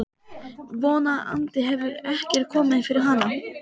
Von andi hefur ekkert komið fyrir hana.